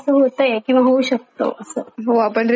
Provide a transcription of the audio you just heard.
हो आपण रिलेट करू शकतो हम्म रिलेट करू बरोबरे